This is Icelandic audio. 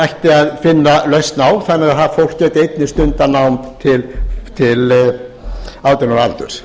ættu að finna lausn á þannig að það fólk geti einnig stundað nám til átján ára aldurs